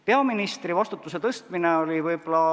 Peaministri vastutuse tõstmine.